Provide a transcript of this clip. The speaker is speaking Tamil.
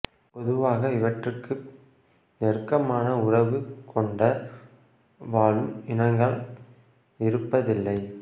பொதுவாக இவற்றுக்கு நெருக்கமான உறவு கொண்ட வாழும் இனங்கள் இருப்பதில்லை